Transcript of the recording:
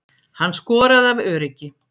Hann skoraði af öryggi